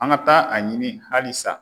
An ka taa a ɲini hali sa.